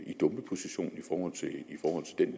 i dumpeposition